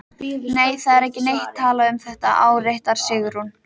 Nei, það er ekki neitt talað um þetta, áréttar Sigrún.